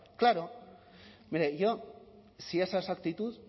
claro hombre y yo si esa es su actitud